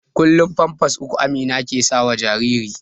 kullum pampas uku Amina ke sawa jaririn